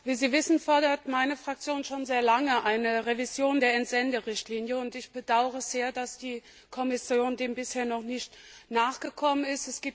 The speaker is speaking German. Wie Sie wissen, fordert meine Fraktion schon sehr lange eine Revision der Entsenderichtlinie, und ich bedauere es sehr, dass die Kommission dem bisher noch nicht nachgekommen ist.